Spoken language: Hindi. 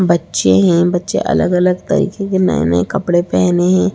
बच्चे है बच्चे अलग-अलग तरीके के नये-नये कपड़े पहने है।